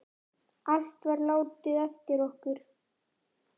Allt var látið eftir okkur.